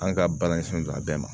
An ka baara ɲɛsinlen don a bɛɛ ma